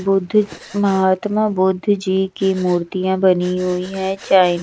बुद्ध महात्मा बुद्ध जी की मूर्तियां बनी हुई है।